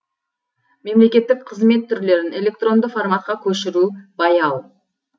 мемлекеттік қызмет түрлерін электронды форматқа көшіру баяу